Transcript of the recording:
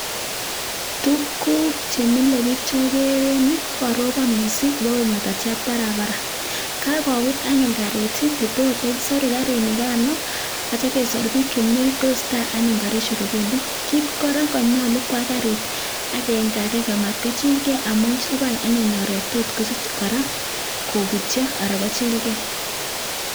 Tukuk chemilek biik chekoree en yuu kokaroboon missing ibokoik ngatatiat barabara kakobut anyun karit nekotokisoruu karinikanoo koyoche kesor biik chemii oriit kotesestaa anyun karishek kibendii kit korak nekonyoluu kokwaa karit akenge akenge akomatkochilgee amun chabai anyun oret tot kobutyoo alan kochilgee